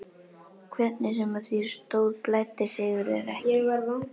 Hvernig sem á því stóð blæddi Sigurði ekki.